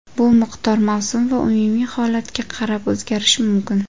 Bu miqdor mavsum va umumiy holatga qarab o‘zgarishi mumkin.